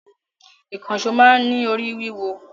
Ìkànṣọ́ máa ń ní orí wíwọ